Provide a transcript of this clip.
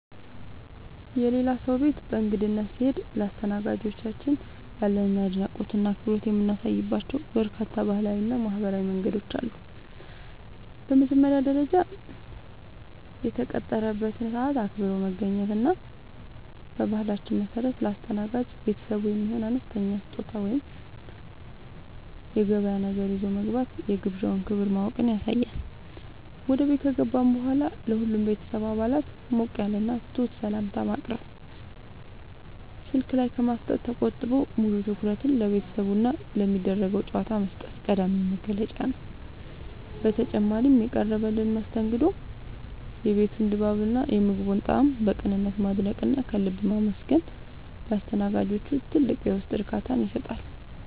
የሌላ ሰው ቤት በእንግድነት ስንሄድ ለአስተናጋጆቻችን ያለንን አድናቆትና አክብሮት የምናሳይባቸው በርካታ ባህላዊና ማኅበራዊ መንገዶች አሉ። በመጀመሪያ ደረጃ፣ የተቀጠረበትን ሰዓት አክብሮ መገኘት እና በባህላችን መሠረት ለአስተናጋጅ ቤተሰቡ የሚሆን አነስተኛ ስጦታ ወይም የገበያ ነገር ይዞ መግባት የግብዣውን ክብር ማወቅን ያሳያል። ወደ ቤት ከገባን በኋላም ለሁሉም የቤተሰብ አባላት ሞቅ ያለና ትሑት ሰላምታ ማቅረብ፣ ስልክ ላይ ከማፍጠጥ ተቆጥቦ ሙሉ ትኩረትን ለቤተሰቡና ለሚደረገው ጨዋታ መስጠት ቀዳሚው መገለጫ ነው። በተጨማሪም፣ የቀረበልንን መስተንግዶ፣ የቤቱን ድባብና የምግቡን ጣዕም በቅንነት ማድነቅና ከልብ ማመስገን ለአስተናጋጆቹ ትልቅ የውስጥ እርካታን ይሰጣል።